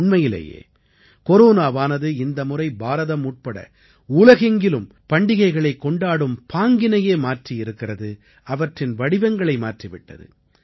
உண்மையிலேயே கொரோனாவானது இந்தமுறை பாரதம் உட்பட உலகெங்கிலும் பண்டிகைகளைக் கொண்டாடும் பாங்கினையே மாற்றி இருக்கிறது அவற்றின் வடிவங்களை மாற்றி விட்டது